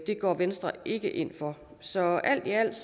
går venstre ikke ind for så alt i alt